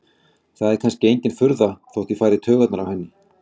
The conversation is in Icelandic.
Það er kannski engin furða þótt ég fari í taugarnar á henni.